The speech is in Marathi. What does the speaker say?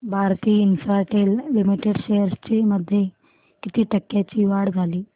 भारती इन्फ्राटेल लिमिटेड शेअर्स मध्ये किती टक्क्यांची वाढ झाली